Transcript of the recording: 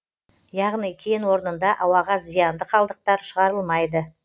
яғни кен орнында ауаға зиянды қалдықтар шығарылмайды